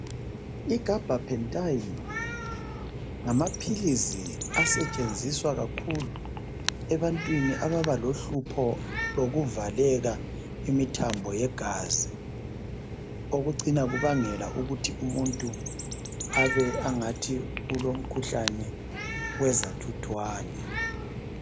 I Gabhapentayini, ngamaphilizi asetshenziswa kakhulu ebantwini ababalohlupho lokuvaleka imithambo yegazi. Okucina kubangela umuntu abengathi ulomkhuhlane we zathuthwane.